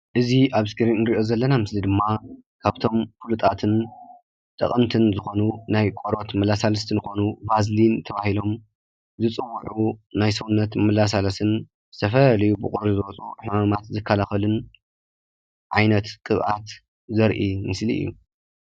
እዚ ኣብ እስክሪን ዝሪኦ ዘለና ምስሊ ድማ ካብቶም ፍሉጣትን ጠቀምትን ዝኮኑ ናይ ቆርበት መለሳለስቲ ዝኮኑ ቫዘሊን ተባሂሎም ዝፅውዑ ናይ ሰዉነት መለሳለስትን ዝተፈላለዩ ብቁሪ ዝመፁ ሕማማት ዝከላከልን ዓይነት ቅብኣት ዘርኢ ምስሊ እዩ።